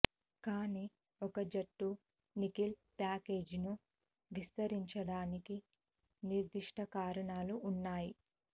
కానీ ఒక జట్టు నికెల్ ప్యాకేజీను విస్తరించడానికి నిర్దిష్ట కారణాలు ఉన్నాయి